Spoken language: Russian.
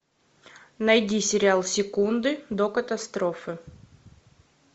найди сериал секунды до катастрофы